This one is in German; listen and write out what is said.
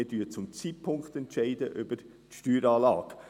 Wir entscheiden zu diesem Zeitpunkt über die Steueranlage.